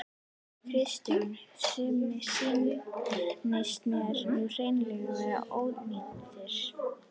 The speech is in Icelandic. Kristján: Sumir sýnist mér nú hreinlega vera ónýtir?